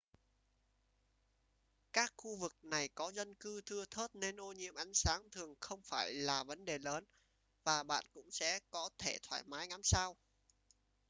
các khu vực này có dân cư thưa thớt nên ô nhiễm ánh sáng thường không phải là vấn đề lớn và bạn cũng sẽ có thể thoải mái ngắm sao